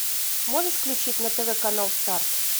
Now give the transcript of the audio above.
можешь включить на тв канал старт